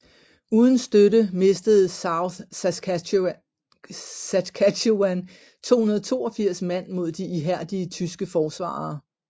Uden støtte mistede South Saskatchewans 282 mand mod de ihærdige tyske forsvarere